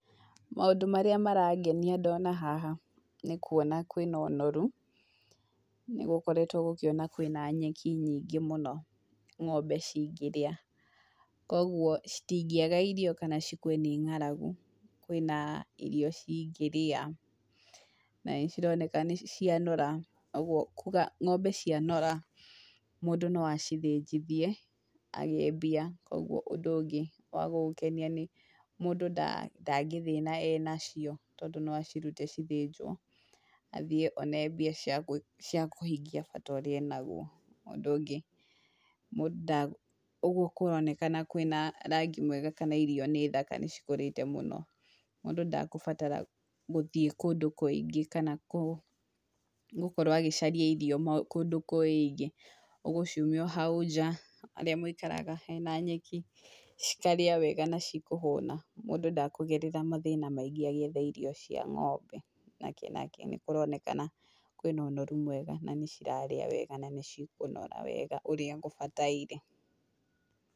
Maũndũ marĩa marangenia ndona haha nĩ kuona kwĩna ũnoru. Nĩ gũkoretwo gũkĩona kwĩna nyeki nyingĩ mũno ng'ombe cingĩrĩa. Koguo cingĩaga irio kana cikue nĩ ng'aragu kwĩna irio cingĩrĩa. Na nĩcironeka nĩ cianora, koguo kuuga atĩ ng'ombe cianora mũndũ no acithĩnjithie agĩe mbia. Koguo ũndũ ũngĩ wa gũgũkenia nĩ mũndũ ndangĩthĩna enacio tondũ no acirute cithĩnjwo, athiĩ one mbia cia kũhingia bata ũrĩa enaguo. Ũndũ ũngĩ, ũguo kũronekana kwĩna rangi mwega kana irio nĩ thaka nĩ cikũrĩte mũno, mũndũ ndakũbatara gũthiĩ kũndũ kũingĩ kana gũkorwo agĩcaria irio kũndũ kũingĩ. Ũgũciumia o hau nja harĩa mũikaraga hena nyeki, cikarĩa wega na cikũhũna, mũndũ ndakũgerera mathĩna maingĩ agĩetha irio cia ng'ombe nakĩ nakĩ. Nĩ kũronekana kwĩna ũnoru mwega na nĩ cirarĩa wega na nĩ cikũnora wega ũrĩa kũbataire.